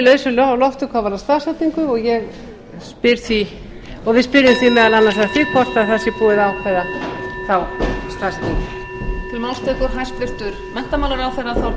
lausu lofti hvað varðar staðsetningu og við spyrjum því meðal annars að því hvort það sé búið að ákveða